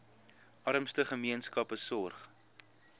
armste gemeenskappe sorg